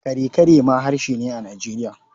Kare-kare ma harshe ne a Nijeriya.